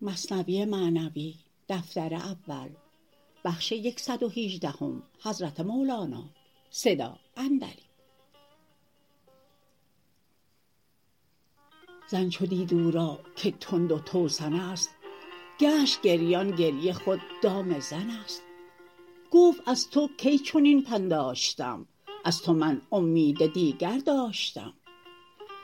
زن چو دید او را که تند و توسنست گشت گریان گریه خود دام زنست گفت از تو کی چنین پنداشتم از تو من اومید دیگر داشتم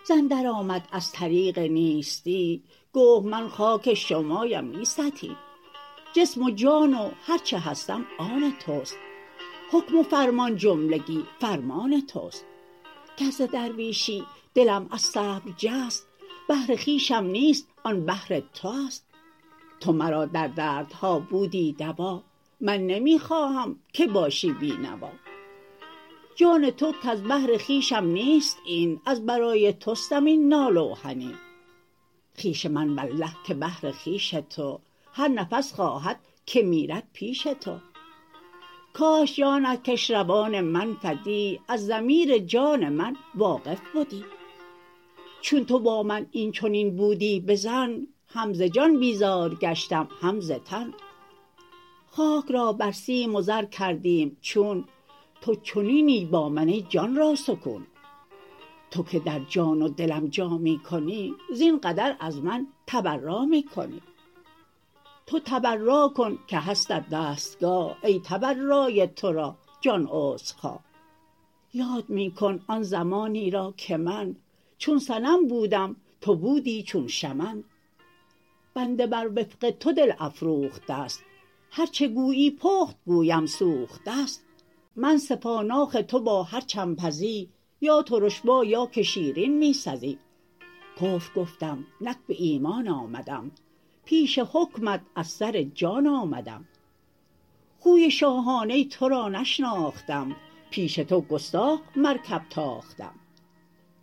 زن در آمد از طریق نیستی گفت من خاک شماام نی ستی جسم و جان و هرچه هستم آن تست حکم و فرمان جملگی فرمان تست گر ز درویشی دلم از صبر جست بهر خویشم نیست آن بهر تو است تو مرا در دردها بودی دوا من نمی خواهم که باشی بی نوا جان تو کز بهر خویشم نیست این از برای تستم این ناله و حنین خویش من والله که بهر خویش تو هر نفس خواهد که میرد پیش تو کاش جانت کش روان من فدا از ضمیر جان من واقف بدا چون تو با من این چنین بودی بظن هم ز جان بیزار گشتم هم ز تن خاک را بر سیم و زر کردیم چون تو چنینی با من ای جان را سکون تو که در جان و دلم جا می کنی زین قدر از من تبرا می کنی تو تبرا کن که هستت دستگاه ای تبرای ترا جان عذرخواه یاد می کن آن زمانی را که من چون صنم بودم تو بودی چون شمن بنده بر وفق تو دل افروخته ست هرچه گویی پخت گوید سوخته ست من سپاناخ تو با هرچه م پزی یا ترش با یا که شیرین می سزی کفر گفتم نک به ایمان آمدم پیش حکمت از سر جان آمدم خوی شاهانه ی ترا نشناختم پیش تو گستاخ خر درتاختم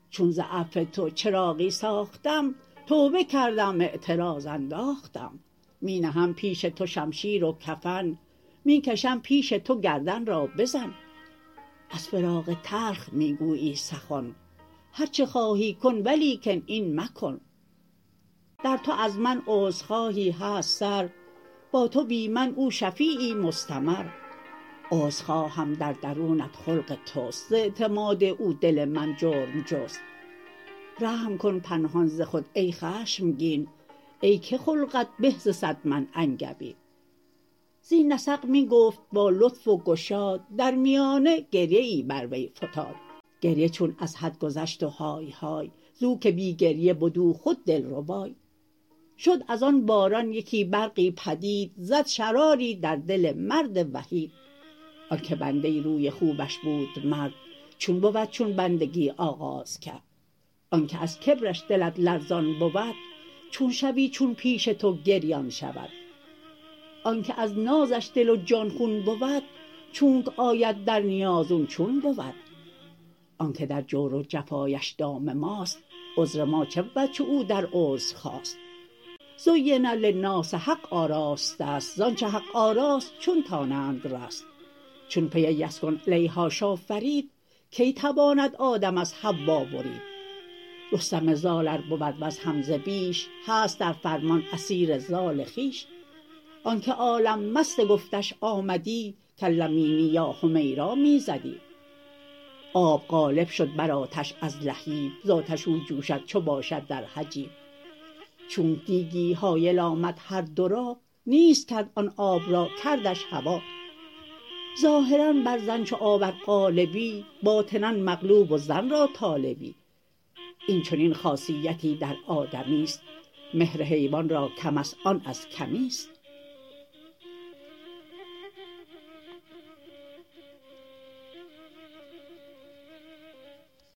چون ز عفو تو چراغی ساختم توبه کردم اعتراض انداختم می نهم پیش تو شمشیر و کفن می کشم پیش تو گردن را بزن از فراق تلخ می گویی سخن هر چه خواهی کن ولیکن این مکن در تو از من عذرخواهی هست سر با تو بی من او شفیعی مستمر عذر خواهم در درونت خلق تست ز اعتماد او دل من جرم جست رحم کن پنهان ز خود ای خشمگین ای که خلقت به ز صد من انگبین زین نسق می گفت با لطف و گشاد در میانه گریه ای بر وی فتاد گریه چون از حد گذشت و های های زو که بی گریه بد او خود دلربای شد از آن باران یکی برقی پدید زد شراری در دل مرد وحید آنک بنده ی روی خوبش بود مرد چون بود چون بندگی آغاز کرد آنک از کبرش دلت لرزان بود چون شوی چون پیش تو گریان شود آنک از نازش دل و جان خون بود چونک آید در نیاز او چون بود آنک در جور و جفااش دام ماست عذر ما چه بود چو او در عذر خاست زین للناس حق آراسته ست زانچ حق آراست چون دانند جست چون پی یسکن الیهاش آفرید کی تواند آدم از حوا برید رستم زال ار بود وز حمزه بیش هست در فرمان اسیر زال خویش آنک عالم مست گفتش آمدی کلمینی یا حمیرا می زدی آب غالب شد بر آتش از لهیب زآتش او جوشد چو باشد در حجیب چونک دیگی حایل آمد هر دو را نیست کرد آن آب را کردش هوا ظاهرا بر زن چو آب ار غالبی باطنا مغلوب و زن را طالبی این چنین خاصیتی در آدمیست مهر حیوان را کمست آن از کمیست